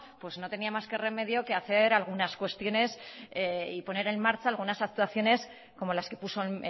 no tenía más remedio que hacer algunas cuestiones y poner en marcha algunas actuaciones como las que puso